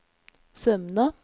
Sømna